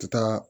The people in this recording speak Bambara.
Taa